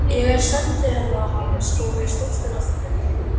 Ég er sendiherra hans og ég er stoltur af því.